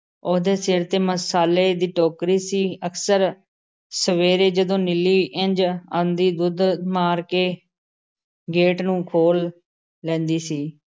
ਉਹਦੇ ਸਿਰ ਤੇ ਮਸਾਲੇ ਦੀ ਟੋਕਰੀ ਸੀ। ਅਕਸਰ ਸਵੇਰੇ ਜਦੋਂ ਨੀਲੀ ਇੰਝ ਆਂਦੀ, ਦੁੱਧ ਮਾਰ ਕੇ ਗੇਟ ਨੂੰ ਖੋਲ੍ਹ ਲੈਂਦੀ ਸੀ ।